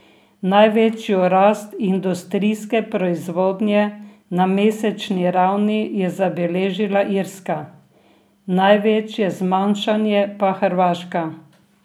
Največjo rast industrijske proizvodnje na mesečni ravni je zabeležila Irska, največje zmanjšanje pa Hrvaška.